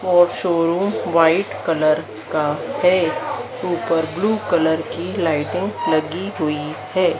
और showroom white colour का है ऊपर ब्लू कलर की लाइटें लगी हुई है।